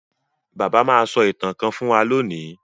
Bàbá má so ìtàn kán fún wan lóni.